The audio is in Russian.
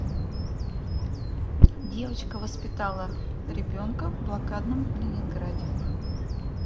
девочка воспитала ребенка в блокадном ленинграде